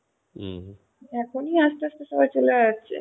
এখনি আস্তে অস্তে সবাই চলে যাচ্ছে